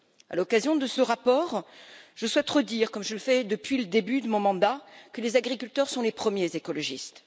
À l'occasion de ce rapport, je souhaite redire comme je fais depuis le début de mon mandat que les agriculteurs sont les premiers écologistes.